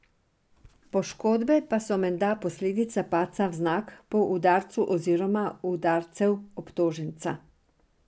Poškodbe pa so menda posledica padca vznak po udarcu oziroma udarcev obtoženca.